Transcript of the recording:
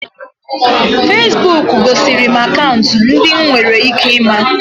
Feesbuk gosiri m akaụntụ ndị m nwere ike ịma